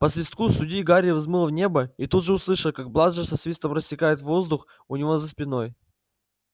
по свистку судьи гарри взмыл в небо и тут же услышал как бладжер со свистом рассекает воздух у него за спиной